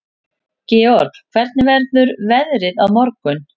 Georg, hvernig verður veðrið á morgun?